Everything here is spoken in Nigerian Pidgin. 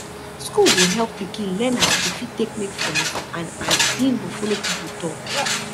school go help pikin learn as e go fit take make friends and as em go follow people talk